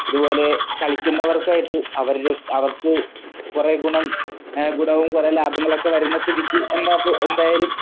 ഇതുപോലെ കളിക്കുന്നവർക്കായിട്ട് അവരുടെ അവർക്ക് കൊറേ ഗുണം എഹ് ഗുണവും കൊറേ ലാഭങ്ങളൊക്കെ വരുന്ന സ്ഥിതിക്ക് എന്താപ്പോ എന്തായാലും